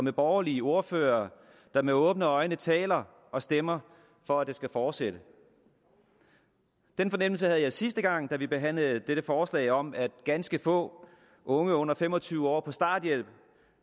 af borgerlige ordførere der med åbne øjne taler og stemmer for at det skal fortsætte den fornemmelse havde jeg sidste gang vi behandlede dette forslag om at ganske få unge under fem og tyve år på starthjælp